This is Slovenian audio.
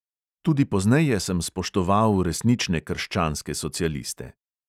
Tudi pozneje sem spoštoval resnične krščanske socialiste.